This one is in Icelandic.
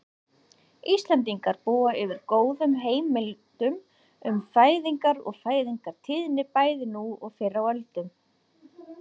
Íslendingar búa yfir góðum heimildum um fæðingar og fæðingartíðni bæði nú og fyrr á öldum.